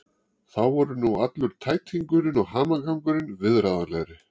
Þá voru nú allur tætingurinn og hamagangurinn viðráðanlegri.